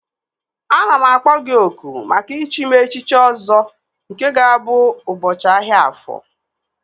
Ana m akpọ gị oku maka ichi m echiche Ọzọ nke ga-abụ ụbọchị ahịa Afọ